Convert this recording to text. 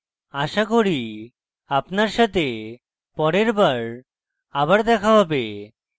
আশা করি আপনার সাথে পরের bye আবার দেখা হবে